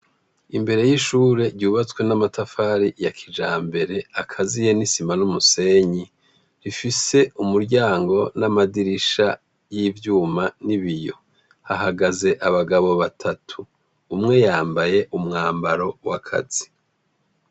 Imbere y’ishure ryubatswe n’amatafari ya kijambere akaziye n’isima n’umusenyi , rifise umuryango n’amadirisha y’ivyuma n’ibiyo. Hahagaze abagabo batatu , umwe yambaye umwambaro w’akazi.